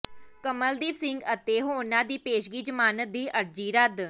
ਕਮਲਦੀਪ ਸਿੰਘ ਅਤੇ ਹੋਰਨਾਂ ਦੀ ਪੇਸ਼ਗੀ ਜ਼ਮਾਨਤ ਦੀ ਅਰਜ਼ੀ ਰੱਦ